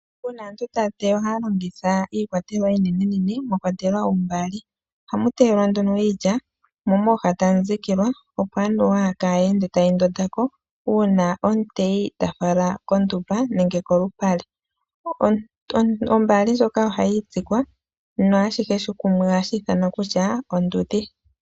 Uuna aantu taya teya ohaya longitha iikwatelwa iinenenene mwa kwatelwa oombaali. Ohamu teyelwa nduno iilya mo mooha tamu dhikilwa, opo anuwa kayi ende tayi ndonda ko uuna omuteyi ta fala kondumba nenge kolupale. Ombaali ndjoka ohayi itsikwa naashihe kumwe ohashi ithanwa kutya ondudhi.